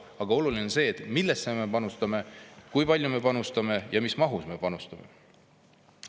Aga oluline on see, millesse me panustame, kui palju me panustame ja mis mahus me panustame.